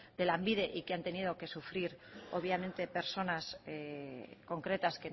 de lanbide y que han tenido que sufrir obviamente personas concretas